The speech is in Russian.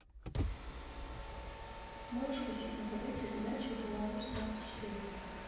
можешь включить на тв передачу беларусь двадцать четыре